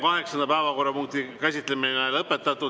Kaheksanda päevakorrapunkti käsitlemine on lõpetatud.